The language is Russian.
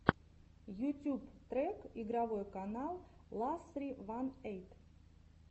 ютьюб трек игровой канал ла ссри ван эйт